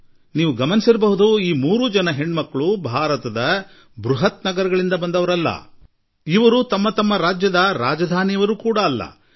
ನೀವೆಲ್ಲಾ ಗಮನಿಸಿರಬಹುದು ಈ ಮೂವರೂ ಪುತ್ರಿಯರು ಭಾರತದ ಮೋಟ್ರೋ ನಗರಗಳಿಂದ ಬಂದವರಲ್ಲ ಅವರು ತಮ್ಮ ತಮ್ಮ ರಾಜ್ಯಗಳ ರಾಜಧಾನಿಗಳಿಂದಲೂ ಬಂದವರಲ್ಲ